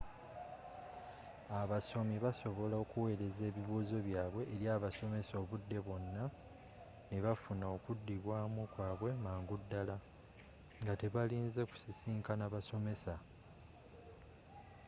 abasomi basobola okuweereza ebibuuzo byabwe eri abasomesa obudde bwonna ne bafuna okudibwaamu kwabwe mangu ddala nga tebalinze kusisiinkana basomesa